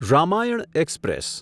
Ramayana express